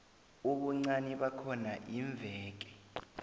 ubuncani bakhona iimveke